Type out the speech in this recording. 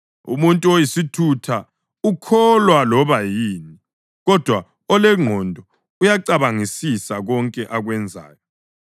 Umuntu oyisithutha ukholwa loba yini, kodwa olengqondo uyakucabangisisa konke akwenzayo.